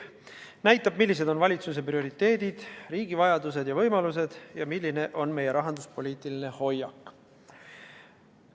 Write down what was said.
See näitab, millised on valitsuse prioriteedid, riigi vajadused ja võimalused ning milline on meie rahanduspoliitiline hoiak.